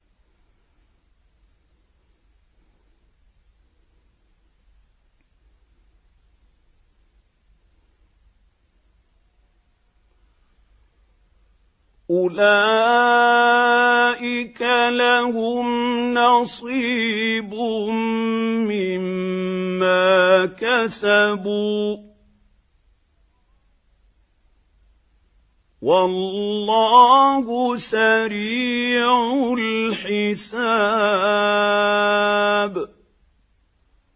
أُولَٰئِكَ لَهُمْ نَصِيبٌ مِّمَّا كَسَبُوا ۚ وَاللَّهُ سَرِيعُ الْحِسَابِ